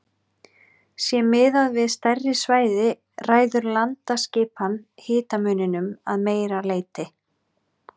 Sé miðað við stærri svæði ræður landaskipan hitamuninum að meira leyti.